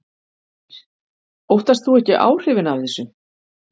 Heimir: Óttast þú ekki áhrifin af þessu?